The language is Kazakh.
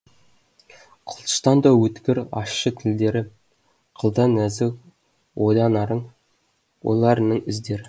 қылыштан да өткір ащы тілдері қылдан нәзік ойларының іздері